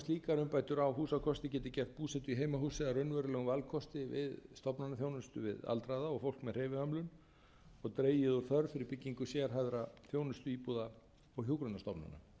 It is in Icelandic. slíkar umbætur á húsakosti geti gert búsetu í heimahúsi að raunverulegum valkosti við stofnanaþjónustu við aldraða og fólk með hreyfihömlun og dregið úr þörf fyrir byggingu sérhæfðra þjónustuíbúða og hjúkrunarstofnana frumkvæði af